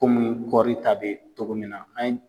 Komunu kɔri ta bɛ togo min na an ye